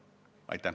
Aitäh, härra Ernits!